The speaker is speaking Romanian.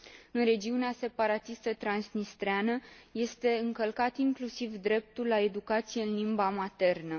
În regiunea separatistă transnistreană este încălcat inclusiv dreptul la educație în limba maternă.